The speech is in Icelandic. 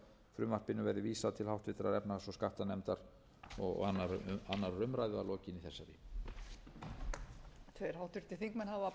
frumvarpinu verði vísað til háttvirtrar efnahags og skattanefndar og annarrar umræðu að lokinni þessari